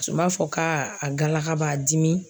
Tun b'a fɔ ka a galaka b'a dimi.